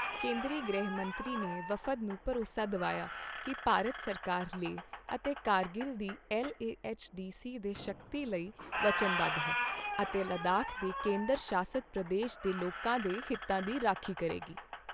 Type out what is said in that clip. ਕੇਂਦਰੀ ਗ੍ਰਹਿ ਮੰਤਰੀ ਨੇ ਵਫ਼ਦ ਨੂੰ ਭਰੋਸਾ ਦਿਵਾਇਆ ਕੀ ਭਾਰਤ ਸਰਕਾਰ ਲੇਹ ਅਤੇ ਕਾਰਗਿਲ ਦੀ LAHDC ਦੇ ਸ਼ਕਤੀ ਲਈ ਵਚਨਬੱਧ ਹੈ ਅਤੇ ਲੱਦਾਖ ਦੇ ਕੇਂਦਰ ਸ਼ਾਸਤ ਪ੍ਰਦੇਸ਼ ਦੇ ਲੋਕਾਂ ਦੇ ਹਿੱਤਾਂ ਦੀ ਰਾਖੀ ਕਰੇਗੀ।